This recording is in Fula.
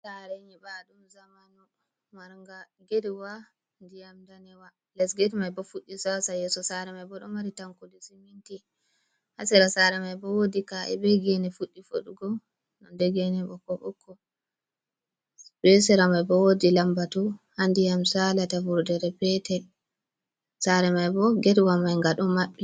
Saare nyiɓaaɗum zamanu, marnga getwa ndiyam daneewa, les get may bo fuɗɗi saasa, yeeso saare may bo, ɗo mari tankudi siminti, haa sera-sera may bo woodi kaa’e be geene fuɗi fuɗngo, nonnde geene may bo ɓokko-ɓokko her sera may bo wodi lambatu haa ndiyam saalata, vurdere peetel saare may bo getwa mai nga ɗon maɓɓi.